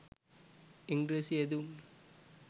ඉංග්‍රීසි යෙදුම්